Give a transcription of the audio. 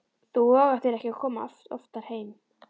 Þú vogar þér ekki að koma oftar heim!